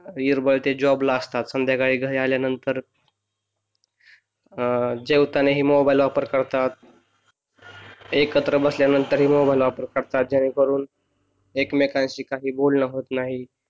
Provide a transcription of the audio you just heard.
दिवसभर ते जॉबला असतात संध्याकाळी घरी आल्यानंतर अह जेवताना ही मोबाईल वापर करतात एकत्र बसल्यानंतर ही मोबाईल वापर करतात जेणे करून एकमेकांशी काही बोलणं होत नाही